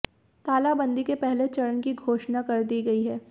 तालाबंदी के पहले चरण की घोषणा कर दी गई है